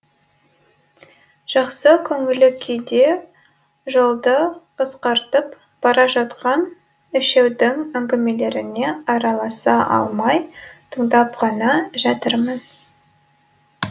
жақсы көңіл күйде жолды қысқартып бара жатқан үшеудің әңгімелеріне араласа алмай тыңдап қана жатырмын